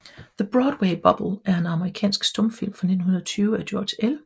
The Broadway Bubble er en amerikansk stumfilm fra 1920 af George L